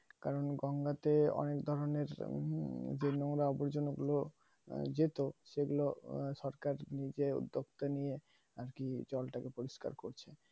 কারণ গঙ্গা তে অনেক ধরণের যে নোংরা আবর্জনা গুলো যেত সেগুলো সরকার নিজে উদ্যোগ টা নিয়ে আর কি জল টাকে পরিষ্কার করছে